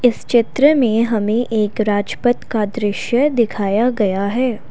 चित्र में हमें एक राजपत दृश्य दिखाया गया है।